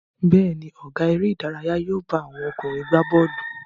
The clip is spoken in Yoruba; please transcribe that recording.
Bẹ́ẹ̀ ni, ọ̀gá eré-idárayá yóò bá àwọn ọkùnrin gbà bọ́ọ́lù.